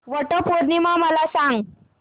वट पौर्णिमा मला सांग